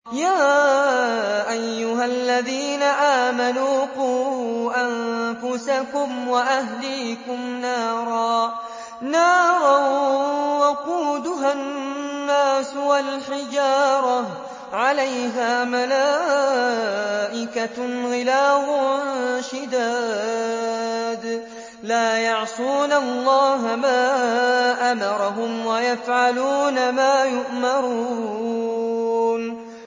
يَا أَيُّهَا الَّذِينَ آمَنُوا قُوا أَنفُسَكُمْ وَأَهْلِيكُمْ نَارًا وَقُودُهَا النَّاسُ وَالْحِجَارَةُ عَلَيْهَا مَلَائِكَةٌ غِلَاظٌ شِدَادٌ لَّا يَعْصُونَ اللَّهَ مَا أَمَرَهُمْ وَيَفْعَلُونَ مَا يُؤْمَرُونَ